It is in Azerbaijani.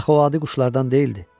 Axı o adi quşlardan deyildi.